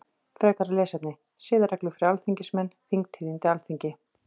Frekara lesefni: Siðareglur fyrir alþingismenn Þingtíðindi Alþingi.